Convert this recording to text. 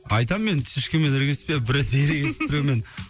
айтамын енді ешкіммен ерегіспе бір ретте ерегесіп біреумен